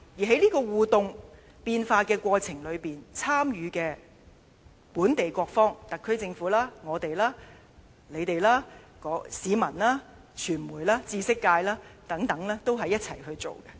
在這個互動變化的過程當中，參與的本地各方，特區政府、我們、你們、市民、傳媒、知識界等，都是一起去進行。